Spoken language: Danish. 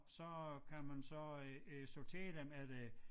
Og så kan man så øh øh sortere dem efter